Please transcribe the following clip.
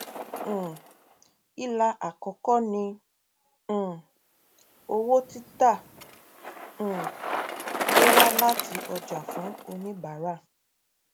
um ilà àkọkọ ni um owó títà um tó wá láti ọjà fún oníbárà